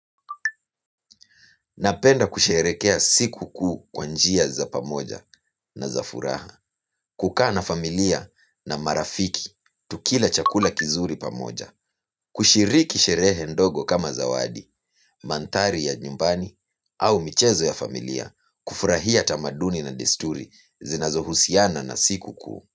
Napenda kusherehekea siku kuu kwa njia za pamoja na za furaha. Kukaa na familia na marafiki, tukila chakula kizuri pamoja. Kushiriki sherehe ndogo kama zawadi, mantari ya nyumbani au michezo ya familia. Kufurahia tamaduni na desturi zinazohusiana na siku kuu.